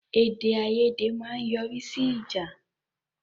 Èdè-àiyèdè ma n yọrí sí ìjà